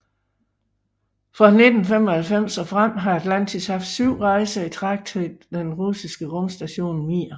Fra 1995 og frem har Atlantis haft syv rejser i træk til den russiske rumstation Mir